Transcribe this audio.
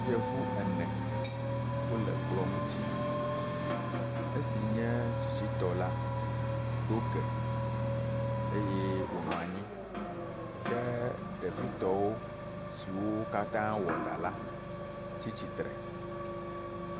Yevu ene wo le kplɔ ŋuti esi nye tsitsitɔ la ɖo ge eye wonɔ anyi ɖe ɖevitɔwo siwo katã wɔ ɖa la tsi tsitre.